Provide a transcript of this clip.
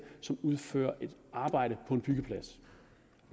som udfører et arbejde på en byggeplads